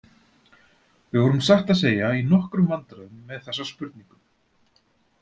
Við vorum satt að segja í nokkrum vandræðum með þessa spurningu.